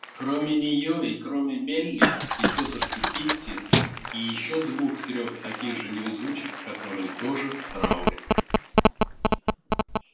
кроме неё и кроме мелли и тётушки питти и ещё двух-трех таких же невезучих которые тоже в трауре